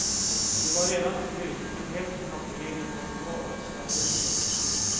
De var redan slut men hälften av degen var kvar i skafferiet.